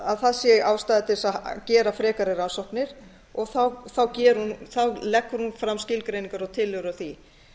að það sé ástæða til þess að gera frekari rannsóknir leggur hún fram skilgreiningar og tillögur á því